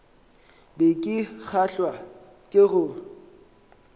be ke kgahlwa ke go